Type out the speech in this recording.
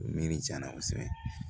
Minni diya na kosɛbɛ